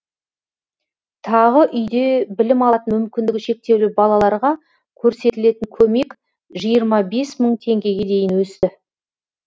тағы үйде білім алатын мүмкіндігі шектеулі балаларға көрсетілетін көмек жиырма бес мың теңгеге дейін өсті